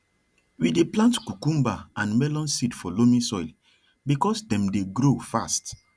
we dey plant cucumber and melon seed for loamy soil becausethem dey grow fast